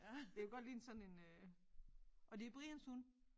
Det kunne godt ligne sådan en øh og det Brians hund